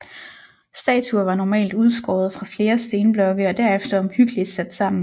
Statuer var normalt udskåret fra flere stenblokke og derefter omhyggeligt sat sammen